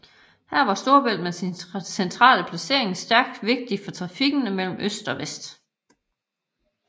Her var Storebælt med sin centrale placering særlig vigtigt for trafikken mellem øst og vest